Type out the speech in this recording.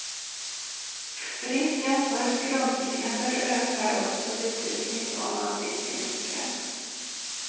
Risken för skrumplever ökar också betydligt om man dricker mycket.